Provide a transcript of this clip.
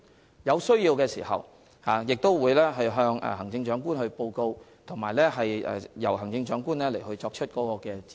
如有需要，他們會向行政長官報告，由行政長官作出指示。